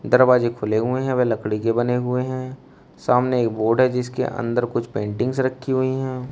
दरवाजे खुले हुए है व लकड़ी के बने हुए है सामने एक बोर्ड है जिसके अंदर कुछ पेंटिंग्स रखी हुई है।